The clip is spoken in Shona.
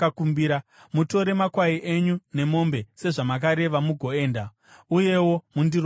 Mutore makwai enyu nemombe, sezvamakareva, mugoenda. Uyewo mundiropafadze.”